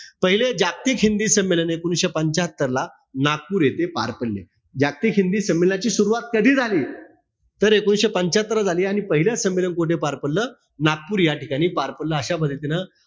पहिले जागतिक हिंदी संमेलन हे एकोणीशे पंच्यात्तर ला, नागपूर येथे पार पडले. जागतिक हिंदी संमेलनाची सुरवात कधी झाली? तर एकोणीशे पंच्यात्तरला झाली आणि पहिल संमेलन कोठे पार पडलं? नागपूर याठिकाणी पार पडलं, अशा पद्धतीनं,